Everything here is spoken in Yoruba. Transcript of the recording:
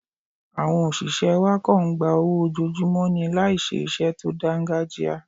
Àwọn òṣìṣẹ́ wa kọ̀ ń gba owó ojoojúmọ́ ni láì ṣe iṣẹ́ tó dáńgájíá.